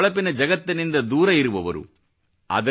ಈ ಹೊಳಪಿನ ಜಗತ್ತಿನಿಂದ ದೂರವಿರುವವರು